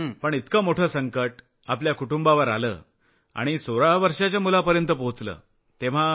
पण इतकं मोठं संकट आपल्या कुटुंबावर आलं आणि 16 वर्षाच्या मुलापर्यंत पोहचलं तेव्हा